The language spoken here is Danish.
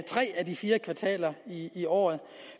tre af de fire kvartaler i året